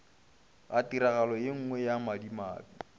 ga tiragalo yenngwe ya madimabe